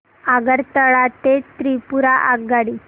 आगरतळा ते त्रिपुरा आगगाडी